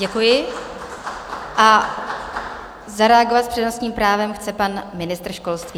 Děkuji a zareagovat s přednostním právem chce pan ministr školství.